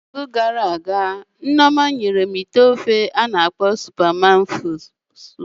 Na izu gara aga, Nneoma nyere m ite ofe ndị na akọ azụ